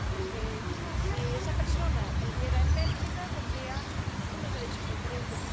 Porque si esa persona viviera en Bélgica tendría unos derechos diferentes.